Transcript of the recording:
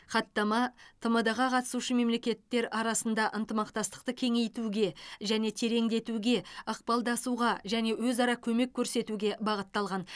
хаттама тмд ға қатысушы мемлекеттер арасында ынтымақтастықты кеңейтуге және тереңдетуге ықпалдасуға және өзара көмек көрсетуге бағытталған